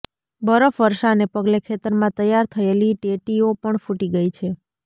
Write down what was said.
બરફ વર્ષાને પગલે ખેતરમાં તૈયાર થયેલી ટેટીઑ પણ ફૂટી ગઈ છે